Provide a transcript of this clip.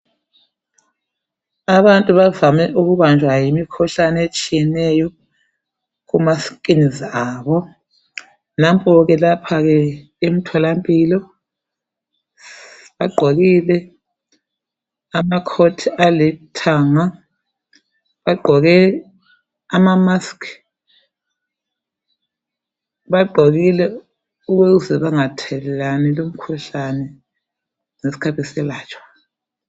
Abantu bavame ukubanjwa yimikhuhlane etshiyeneyo kumaskins abo. Nampo ke lapha ke emtholampilo bagqokile amacoat alithanga, bagqoke amamask, bagqokile ukuze bangathelelani lumkhuhlane ngesikhathi eselatshwa.